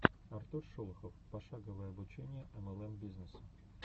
артур шолохов пошаговое обучение млм бизнесу